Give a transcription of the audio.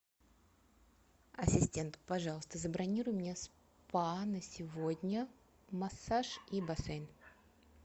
ассистент пожалуйста забронируй мне спа на сегодня массаж и бассейн